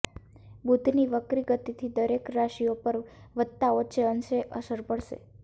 બુધની વક્રી ગતિથી દરેક રાશિઓ પર વધતા ઓછે અંશે અસર પડશે